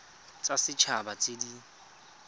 tsa set haba tse di